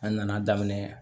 An nana daminɛ